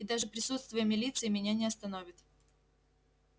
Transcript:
и даже присутствие милиции меня не остановит